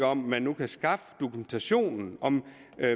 om man nu kan skaffe dokumentationen og om